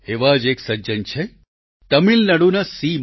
એવા જ એક સજ્જન છે તમિલનાડુના સી